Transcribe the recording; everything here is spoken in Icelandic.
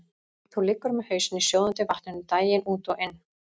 Þú liggur með hausinn í sjóðandi vatninu daginn út og inn.